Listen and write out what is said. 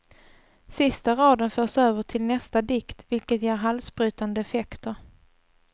Sista raden förs över till nästa dikt vilket ger halsbrytande effekter.